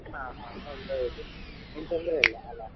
ಹ ಹಾ ಹೌದೌದು ಏನ್ ತೊಂದ್ರೆ ಇಲ್ಲಅಲ್ಲ?